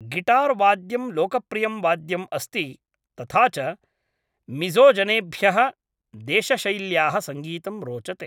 Guitar वाद्यं लोकप्रियं वाद्यम् अस्ति तथा च मिज़ोजनेभ्यः देशशैल्याः सङ्गीतं रोचते।